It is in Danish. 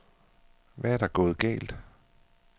Hvad er der gået galt?